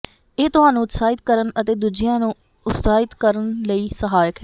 ਇਹ ਤੁਹਾਨੂੰ ਉਤਸ਼ਾਹਿਤ ਕਰਨ ਅਤੇ ਦੂਜਿਆਂ ਨੂੰ ਉਤਸਾਹਿਤ ਕਰਨ ਲਈ ਸਹਾਇਕ ਹੈ